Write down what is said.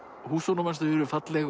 húsunum hans þau eru falleg